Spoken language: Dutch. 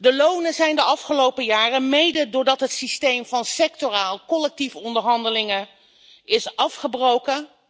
De lonen zijn de afgelopen jaren soms wel gehalveerd, mede doordat het systeem van sectorale collectieve onderhandelingen is afgebroken.